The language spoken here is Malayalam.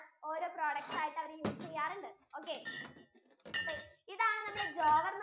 ഓരോ products ആയിട്ട് അവർ use ചെയ്യാറുണ്ട് okay ഇതാണ് നമ്മുടെ jower ന്